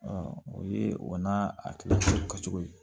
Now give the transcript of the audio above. o ye o n'a akilina kɛcogo ye